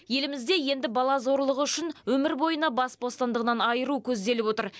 елімізде енді бала зорлығы үшін өмір бойына бас бостандығынан айыру көзделіп отыр